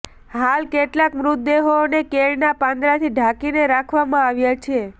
હાલ કેટલાંક મૃતદેહોને કેળના પાંદડાથી ઢાંકીને રાખવામાં આવ્યા છે